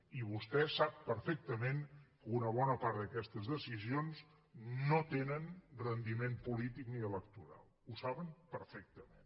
i vostè sap perfectament que una bona part d’aquestes decisions no tenen rendiment polític ni electoral ho saben perfectament